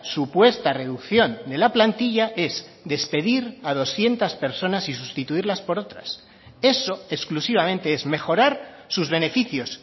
supuesta reducción de la plantilla es despedir a doscientos personas y sustituirlas por otras eso exclusivamente es mejorar sus beneficios